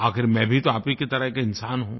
आख़िर मैं भी तो आप ही की तरह एक इन्सान हूँ